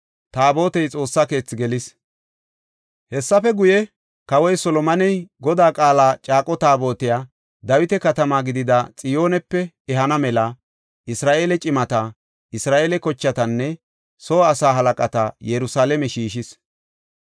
Hessafe guye, Kawoy Solomoney Godaa Qaala caaqo Taabotiya Dawita Katama gidida Xiyoonepe ehana mela Isra7eele cimata, Isra7eele kochatanne soo asaa halaqata Yerusalaame shiishis.